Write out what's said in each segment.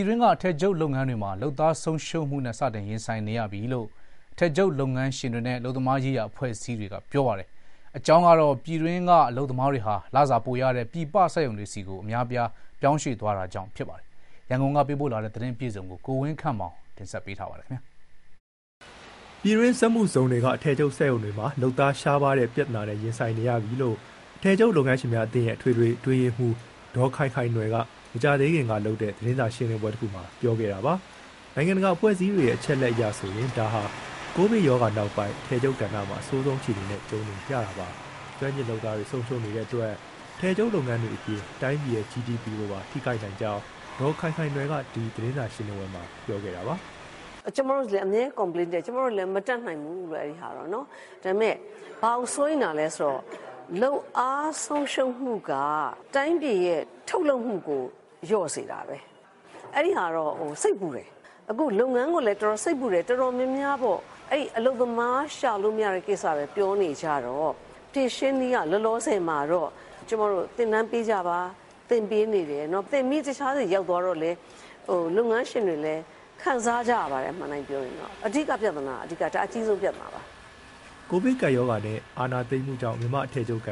ည်တွင်းက အထည်ချုပ်လုပ်ငန်းတွေမှာ လုပ်အား လုပ်သားဆုံးရှုံးမှုနဲ့ စတင်ရင်ဆိုင်နေရပြီလို့ အထည်ချုပ်လုပ်ငန်းရှင်တွေနဲ့ အလုပ်သမားရေးရာအဖွဲ့အစည်းတွေက ဗွီအိုအေကို ပြောပါတယ်။ ပြည်တွင်းက အလုပ်သမားတွေဟာ လုပ်အားခ လစာပိုရတဲ့ ပြည်ပနိုင်ငံတွေနဲ့ လုပ်ငန်းခွင်စက်ရုံတွေဆီ အများအပြား ပြောင်းရွှေ့သွားတာကြောင့် ဖြစ်ပါတယ်ပါတယ်။ ရန်ကုန်က သတင်းပေးပို့ထားပါတယ်။ ပြည်တွင်းစက်မှုဇုံတွေက အထည်ချုပ်စက်ရုံတွေမှာ လုပ်သားရှားပါးတဲ့ ပြဿနာနဲ့ ရင်ဆိုင်နေရပြီလို့ အထည်ချုပ် လုပ်ငန်းရှင်များအသင်းရဲ့ အထွေထွေအတွင်းရေးမှူး ဒေါ်ခိုင်ခိုင်နွယ်က မကြာသေးခင်ကလုပ်တဲ့ သတင်းစာရှင်းလင်းပွဲတခုမှာ ပြောခဲ့တာပါ။ နိုင်ငံတကာအဖွဲ့အစည်းတွေရဲ့ အချက်အလက်အရဆိုရင် ဒါဟာ ကိုဗစ်ကပ်ရောဂါနောက်ပိုင်း အထည်ချုပ်ကဏ္ဍမှာ အဆိုးဆုံးအခြေအနေနဲ့ ကြုံနေရတာပါ။ ကျွမ်းကျင်လုပ်သားတွေ ဆုံးရှုံးနေတဲ့အတွက် အထည်ချုပ်လုပ်ငန်းတွေအပြင် တိုင်းပြည်ရဲ့ ဂျီဒီပီ ကိုပါ ထိခိုက်နိုင်ကြောင်း ဒေါ်ခိုင်ခိုင်နွယ်က ဒီသတင်းစာရှင်းလင်းပွဲမှာ ပြောခဲ့တာပါ။ "ကျမတို့လည်း အမြဲ complaint တက်ကြတယ်၊ ကျမတို့လည်း မတတ်နိုင်ဘူးလို့ အဲဒီဟာတော့။ ဒါပေမဲ ဘာကိုစိုးရိမ်တာလဲဆိုတော့ လုပ်အားဆုံးရှုံးမှုက တိုင်းပြည်ရဲ့ ထုတ်လုပ်မှုကို လျော့စေတာပဲ။ အဲဒီဟာတော့ စိတ်ပူတယ်။ အခုလုပ်ငန်းကိုလည်း စိတ်ပူတယ်။ တော်တော်များများပေါ့ အဲဒီအလုပ်သမား ရှာလို့မရတဲ့ဟာပဲ ပြောနေကြတော့ ဖြေရှင်းနည်းက လောလောဆယ်မှာတော့ သင်တန်းပေးကြပါ၊ သင်ပေးနေတယ်၊ သင်ပြီး တခြားဆီရောက်သွားတော့လည်း လုပ်ငန်းရှင်တွေလည်း ခံစားကြရပါတယ် အမှန်အတိုင်းပြောရင်။ အဓိကပြဿနာ၊ ဒါအကြီးဆုံးပြဿနာပါ။" အခုဆိုရင် စက်ရုံပိုင်ရှင်တွေက စက်ချုပ်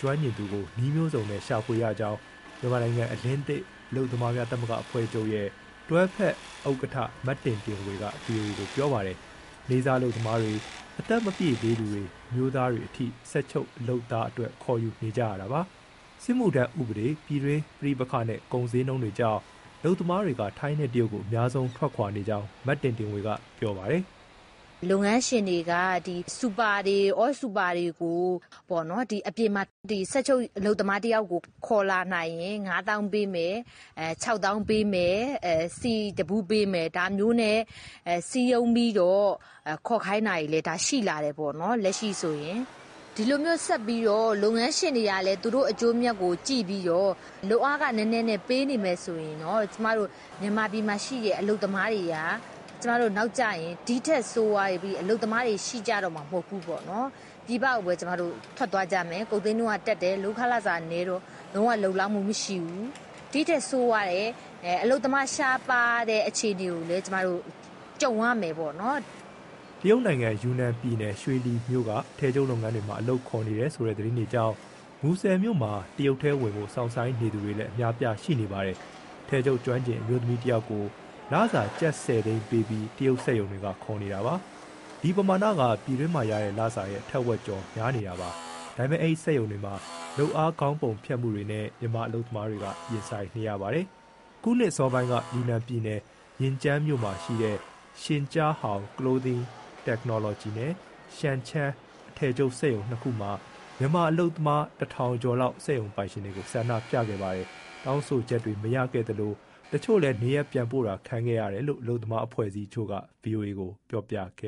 ကျွမ်းကျင်သူကို နည်းမျိုးစုံနဲ့ ရဖွေနေရကြောင်း မြန်မာနိုင်ငံအလင်းသစ် အလုပ်သမားသမဂ္ဂများ အဖွဲ့ချုပ်ရဲ့ တွဲဖက်ဥက္ကဋ္ဌ မတင်တင်ဝေက ဗွီအိုအေကို ပြောပါတယ်။ နေ့စားအလုပ်သမားတွေ၊ အသက်မပြည့်သေးသူတွေ၊ အမျိုးသားတွေအထိ စက်ချုပ်လုပ်သားအတွက် ခေါ်ယူနေကြတာပါ။ စစ်မှုထမ်းဥပဒေ၊ ပြည်တွင်းပဋိပက္ခနဲ့၊ ကုန်ဈေးနှုန်းကြောင့် အလုပ်သမားတွေက ထိုင်းနဲ့ တရုတ်ကို အများဆုံးထွက်နေကြောင်း မတင်တင်ဝေက ပြောပါတယ်။ "လုပ်ငန်းရှင်တွေက စူပါတွေ၊ အောစူပါတွေကို အပြင်မှာ စက်ချုပ်လုပ်သားတယောက်ကို ခေါ်လာနိုင်ရင် ငါးသောင်းပေးမယ်၊ ခြောက်သောင်းပေးမယ်၊ ဆီတဗူးပေးမယ်၊ ဒါမျိုးနဲ့ စည်းရုံးပြီးတော့ ခေါ်ခိုင်းတာတွေ ရှိလာတယ် လက်ရှိဆိုရင်။ ဒီလိုမျိုးဆက်ပြီး လုပ်ငန်းရှင်တွေကလည်း သူတို့အကျိုးအမြတ်ကိုကြည့်ပြီး လုပ်အားခနည်းနည်းနဲ့ ပေးနေမယ်ဆိုရင် မြန်မာပြည်မှာရှိတဲ့ အလုပ်သမားတွေက ဒီထက်ဆိုးပြီး အလုပ်သမားတွေ ရှိကြတော့မှာ မဟုတ်ဘူး။ ပြည်ပကိုပဲ ထွက်သွားကြမယ်။ ကုန်ဈေးနှုန်းကတက်တယ် လုပ်ခကနည်းတော့ လုံးဝ လုံလောက်မှုမရှိဘူး။ ဒီထက်ဆိုးတဲ့ အလုပ်သမားရှားပါးတဲ့ အခြေအနေကိုလည်း ကျမတို့ ကြုံရမယ်ပေါ့နော်။ တရုတ်ယူနန်ပြည်နယ် ရွှေလီမြို့က အထည်ချုပ်လုပ်ငန်းတွေမှာ အလုပ်ခေါ်နေတယ်ဆိုတဲ့ သတင်းတွေကြောင့် မူဆယ်မြို့မှာ တရုတ်ထဲဝင်ဖို့ စောင့်ဆိုင်းနေသူတွေလည်း အများအပြားရှိနေပါတယ်။ အထည်ချုပ်ကျွမ်းကျင် အမျိုးသမီးတယောက်ကို လစာ ကျပ်၁၀သိန်းပေးပြီး တရုတ်စက်ရုံတွေက ခေါ်နေတာပါ။ ဒီပမာဏက ပြည်တွင်းမှရတဲ့လစာရဲ့ ထက်ဝက်ကျော် များနေတာပါ။ ဒါပေမဲ့ အဲဒီစက်ရုံတွေမှာ လုပ်အားခေါင်းပုံဖြတ်မှုတွေနဲ့ မြန်မာအလုပ်သမားတွေက ရင်ဆိုင်နေရပါတယ်။ အခုနှစ်အစောပိုင်းက ယူနန်ပြည်နယ်၊ ရင်ကျန်းမြို့မှာရှိတဲ့ Xinjiahao Clothing Technology နဲ့ Shangcheng အထည်ချုပ်စက်ရုံနှစ်ခုမှာ မြန်မာအလုပ်သမား ၁,၀၀၀ ကျော်လောက် စက်ရုံပိုင်ရှင်တွေကို ဆန္ဒပြခဲ့ပါတယ်။ တောင်းဆိုချက်တွေ မရခဲ့သလို တချို့လည်း နေရပ်ပြန်ပို့တာခံခဲ့ရတယ်လို့ အလုပ်သမား အဖွဲ့အစည်းတချို့က ဗွီအိုအေကို ပြောပြခ